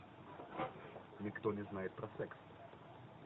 никто не знает про секс